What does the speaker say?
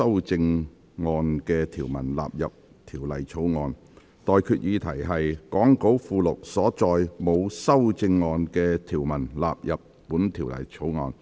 我現在向各位提出的待決議題是：講稿附錄所載沒有修正案的條文納入本條例草案。